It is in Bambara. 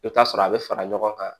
I bɛ taa sɔrɔ a bɛ fara ɲɔgɔn kan